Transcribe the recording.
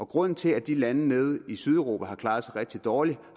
grunden til at de lande nede i sydeuropa har klaret sig rigtig dårligt